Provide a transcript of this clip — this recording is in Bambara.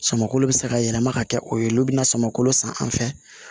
Samako bɛ se ka yɛlɛma ka kɛ o ye olu bɛna sama kolo san an fɛ